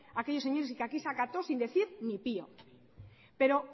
aquellos señores y que aquí se acató sin decir ni pío pero